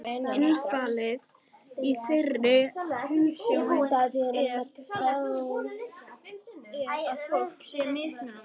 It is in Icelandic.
Innifalið í þeirri hugsjón er að fólk sé mismunandi.